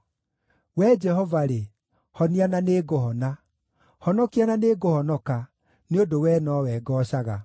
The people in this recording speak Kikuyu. Wee Jehova-rĩ, honia na nĩngũhona; honokia na nĩngũhonoka, nĩ ũndũ wee nowe ngoocaga.